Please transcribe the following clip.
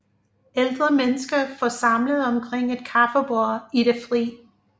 Ældre mennesker forsamlet omkring et kaffebord i det fri